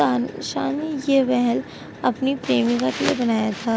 आन शानी ये वहल अपनी प्रेमिका के लिए बनाया था।